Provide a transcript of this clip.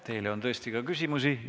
Teile on tõesti ka küsimusi.